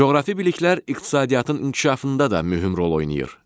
Coğrafi biliklər iqtisadiyyatın inkişafında da mühüm rol oynayır.